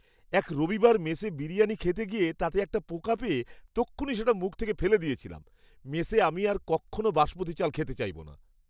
এক রবিবার মেসে বিরিয়ানি খেতে গিয়ে তাতে একটা পোকা পেয়ে তক্ষুণি সেটা মুখ থেকে ফেলে দিয়েছিলাম। মেসে আমি আর কক্ষনো বাসমতী চাল খেতে চাইবো না!